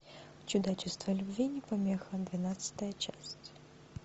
чудачество любви не помеха двенадцатая часть